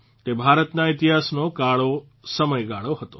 તે ભારતના ઇતિહાસનો કાળો સમયગાળો હતો